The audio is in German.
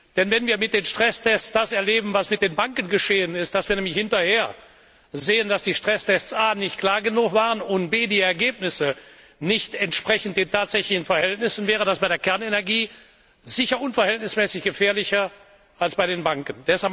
Denn wenn wir mit den Stresstests das erleben, was mit den Banken geschehen ist, dass wir nämlich hinterher sehen, dass die Stresstests erstens nicht klar genug waren und zweitens die Ergebnisse nicht den tatsächlichen Verhältnissen entsprechend, wäre das bei der Kernenergie sicher unverhältnismäßig gefährlicher als bei den Banken.